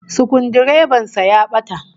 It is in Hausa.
Sukuldireban sa ya bata